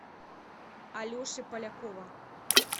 алеши полякова